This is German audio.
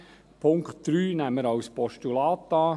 Den Punkt 3 nehmen wir als Postulat an.